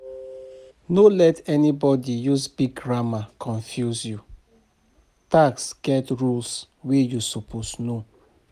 No let anybody use big grammar confuse you, tax get rules wey you suppose know.